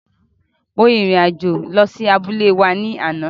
Mo rin ìrìn àjò lọ sí abúlé wa ní àná.